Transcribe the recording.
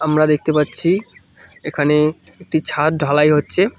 আমরা দেখতে পাচ্ছি এখানে একটি ছাদ ঢালাই হচ্ছে।